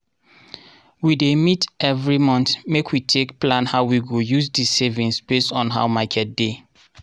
we dey meet evri month make we take plan how we go use di savings based on how market dey.